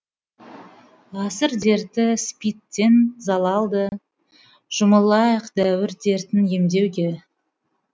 ғасыр дерті спид тен де залалды жұмылайық дәуір дертін емдеуге